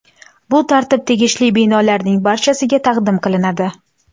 Bu tartib tegishli binolarning barchasiga taqdim qilinadi.